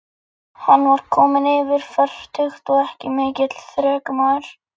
Hún vissi þá þegar að hús voru mismunandi.